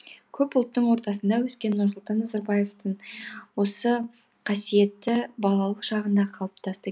көп ұлттың ортасында өскен нұрсұлтан назарбаевтың осы қасиеті балалық шағында қалыптасты